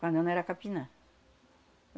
Quando eu não era capinã.